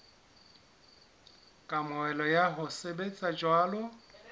kamohelo ya ho sebetsa jwalo